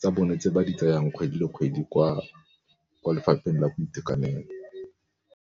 tsa bone tse ba di tsayang kgwedi le kgwedi kwa lefapheng la boitekanelo.